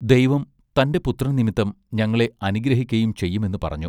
ദൈവം തന്റെ പുത്രൻ നിമിത്തം ഞങ്ങളെ അനുഗ്രഹിക്കയും ചെയ്യും എന്നു പറഞ്ഞു.